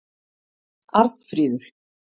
Arnfríður